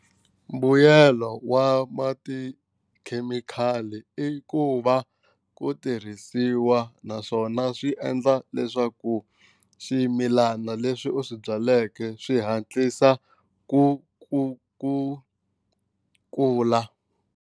Mbuyelo wa ma tikhemikhali i ku va ku tirhisiwa naswona swi endla leswaku ximilana leswi u swi byaleke swi hatlisa ku ku ku kula.